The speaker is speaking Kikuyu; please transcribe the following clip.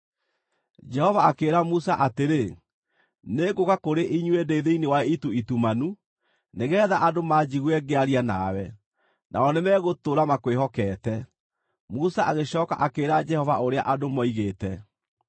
Jehova akĩĩra Musa atĩrĩ, “Nĩngũũka kũrĩ inyuĩ ndĩ thĩinĩ wa itu itumanu, nĩgeetha andũ maanjigue ngĩaria nawe, nao nĩ megũtũũra makwĩhokete.” Musa agĩcooka akĩĩra Jehova ũrĩa andũ moigĩte.